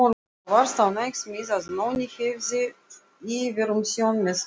Og varst ánægð með að Nonni hefði yfirumsjón með verkinu.